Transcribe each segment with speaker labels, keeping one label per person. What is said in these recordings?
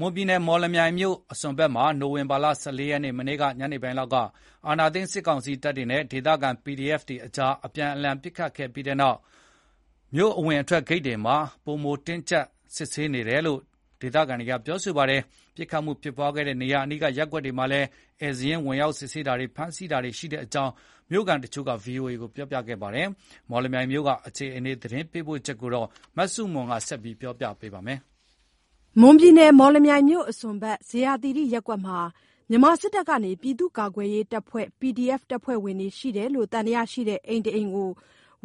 Speaker 1: မွန်ပြည်နယ် မော်လမြိုင်မြို့စွန်မှာ မနေ့ နိုဝင်ဘာလ ၁၄ ရက်ညနေပိုင်းလောက်က စစ်တပ်နဲ့ PDF လက်နက်ကိုင်အဖွဲ့တွေအကြား အပြန်အလှန်ပစ်ခတ်ခဲ့ပြီးတဲ့နောက် မြို့အဝင်အထွက်ဂိတ်တွေမှာ တပ်ဘက်က ပိုပြီး တင်းတင်းကျပ်ကျပ် စစ်ဆေးနေသလို ပစ်ခတ်မှုဖြစ်ပွားခဲ့တဲ့ နေရာအနီးရပ်ကွက်တွေမှာ ဧည့်စာရင်း ဝင်စစ်ဆေးတာတွေ၊ ဖမ်းဆီးတာတွေရှိတဲ့အကြောင်း မြို့ခံတချို့က VOA ကို ပြောပါတယ်။ မော်လမြိုင်မြို့အခြေအနေ သတင်းပေးပို့ချက်ကို မဆုမွန် က တင်ပြပေးထားပါတယ်
Speaker 2: ။ မော်လမြိုင်မြို့အစွန်ဘက် ဇေယျာသီရိရပ်ကွက်မှာ မြန်မာစစ်တပ်က ပြည်သူ့ ကာကွယ်ရေးတပ်ဖွဲ့ PDF တပ်ဖွဲ့ဝင်တွေရှိတယ်လို့ သံသယရှိတဲ့ အိမ်တအိမ်ကို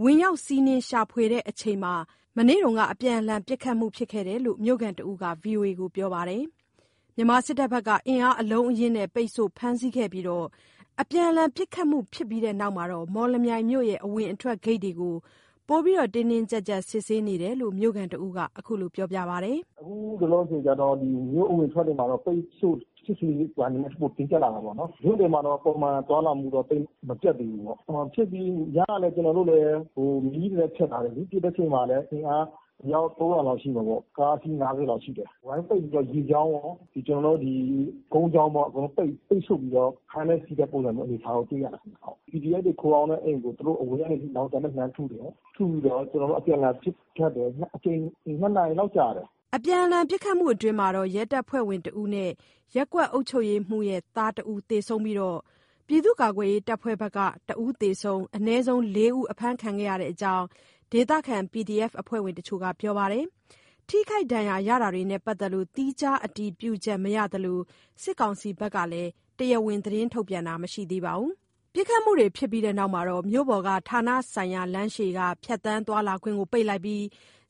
Speaker 2: ဝင်ရောက် စီးနင်းရှာဖွေချိန်မှာ မနေ့က အပြန်အလှန် ပစ်ခတ်ခဲ့တာလို့ မြို့ခံတဦးက VOA ကို ပြောပါတယ်။ မြန်မာစစ်တပ်ဘက်က အင်အားအလုံးရင်းနဲ့ ပိတ်ဆို့ ဖမ်းဆီးခဲ့ပြီး အပြန်အလှန် ပစ်ခတ်ပြီးတဲ့နောက် မော်လမြိုင်မြို့အဝင်အထွက် ဂိတ်ကို ပိုပြီး တင်းတင်းကျပ်ကျပ် စစ်ဆေးနေတာလို့ မြို့ခံတဦးက ခုလို ပြောပါတယ်။ “
Speaker 3: မြို့ထဲမှာ ပုံမှန်သွားလာမှုတော့ သိပ်မပြတ်သေးဘူးပေါ့။ ညကလည်း မီးတွေလည်း ဖျက်ထားတယ်လေ။ ပစ်တဲ့အချိန်မှာ အင်အား အယောက် ၃၀၀ လောက်ရှိမှာပေါ့။ ကားအစီး ၅၀ လောက်ရှိတယ်၊ ဝိုင်းပိတ်ပြီးတော့ ရေကြောင်းရော ကုန်းကြောင်းပေါ့။ အကုန်လုံးပိတ်ဆို့ပြီးတော့ ဖမ်းတဲ့ဆီးတဲ့ပုံစံမျိုး အနေအထားတော့ တွေ့ရတယ်ခင်ဗျ ဟုတ်။ အပြန်အလှန်ပစ်ခတ်တယ်။ အချိန် ၂ နာရီလောက်ကြာတယ်။
Speaker 2: ” အပြန်အလှန်ပစ်ခတ်မှုမှာ ရဲတပ်ဖွဲ့ဝင်တဦးနဲ့ ရပ်ကွက်အုပ်ချုပ်ရေးမှူးရဲ့သားဖြစ်သူတဦး သေဆုံးပြီး ပြည်သူ့ကာကွယ်ရေးတပ်ဖွဲ့ဘက်က တဦးသေ၊ အနည်းဆုံး ၄ ဦးအဖမ်းခံရတဲ့အကြောင်း ဒေသခံ PDF အဖွဲ့ဝင်တချို့က ပြောပါတယ်။ ထိခိုက် ဒဏ်ရာရာတာတွေနဲ့ ပတ်သက်လို့ သီးခြား အတည်ပြုချက်မရသလို စစ်ကောင်စီဘက်က သတင်းထုတ်ပြန်တာလည်း မရှိသေးပါဘူး။ ပစ်ခတ်မှုဖြစ်ပြီး မြို့ပေါ်က ဌာနဆိုင်ရာ လမ်းရှေ့ ဖြတ်သန်းသွားလာခွင့်ကို ပိတ်လိုက်ပြီး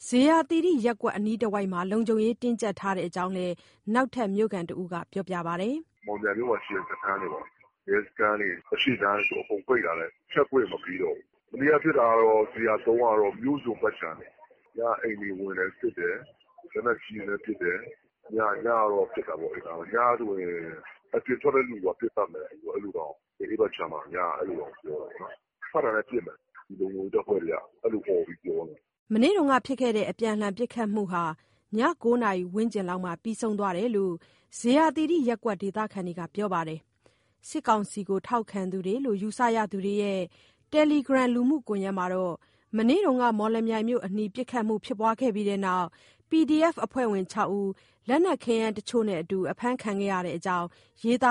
Speaker 2: ဇေယျာသီရိရပ်ကွက် အနီးတဝိုက်မှာ လုံခြုံရေးတင်းကျပ် ထားတယ်တဲ့အကြောင်းလည်း နောက်ထပ်မြို့ခံ တဦးက ဆိုပါတယ်။
Speaker 4: “မော်လမြိုင်မြို့မှာရှိတဲ့ စခန်းပေါ့။ ရဲစခန်းတွေ အရှေ့လမ်းဆို အကုန်ပိတ်ထားတယ်။ ဖြတ်ခွင့် မပေးတော့ဘူး။ မနေ့က ဖြစ်စဉ်နဲ့၊ မနေ့က ဖြစ်တာတော့ ဇေယျာ ၃ ကတော့ မြို့စွန့်ဘက်ခြမ်းတွေ၊ ညက အိမ်တွေဝင်တယ် စစ်တယ်။ လက်နက်ကြီးနဲ့ပစ်တယ်။ ညတော့ ဖြစ်တာပေ့ါ။ အဲ့နားမှာ ညဆိုရင် အပြင်ထွက်တဲ့လူပါပစ်သတ်မယ်။ အဲ့လိုတောင်- အဲ့ဘက်ခြမ်းမှာ ညကအဲ့လိုတောင် ပြောတယ်ပေါ့နော်။ ထွက်လာတာနဲ့ ပစ်မယ်။ ဒီလုံခြုံရေးတပ်ဖွဲ့တွေက အဲ့လိုအော်ပြီး ပြောနေတာ
Speaker 2: ။” မနေ့က အပြန်အလှန်ပစ်ခတ်မှုဟာ ည ၉ နာရီ ဝန်းကျင်လောက်မှာ ပြီးဆုံးသွားတယ်လို့ ဇေယျာသီရိရပ်ကွက် ဒေသခံတွေက ပြောပါတယ်။ စစ်ကောင်စီကို ထောက်ခံသူတွေလို့ ယူဆရသူတွေရဲ့ တယ်လီဂရမ် လှုမှုကွန်ယက်မှာတော့ မနေ့က မော်လမြိုင်မြို့အနီး ပစ်ခတ်မှု ဖြစ်ပွားပြီးတဲ့နောက် PDF အဖွဲ့ဝင် ၆ ဦး လက်နက်ခဲယမ်းတချို့နဲ့အတူ အဖမ်းခံခဲ့ရတဲ့အကြောင်း ရေးသာ